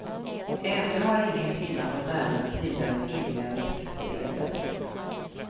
Ännu har ingen kvinna fått äran att pryda en finländsk sedel.